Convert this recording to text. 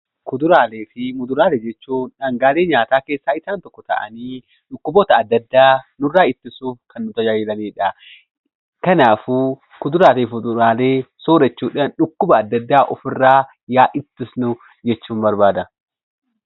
Kuduraalee fi muduraalee jechuun dhangaalee nyaataa keessaa isaan tokko ta'anii, dhukkuboota adda addaa nurraa ittisuuf kan nu tajaajilanidha. Kanaafuu kuduraalee fi fuduraalee soorachuudhaan dhukkuba adda addaa ofirraa yaa ittisnu jechuun barbaada.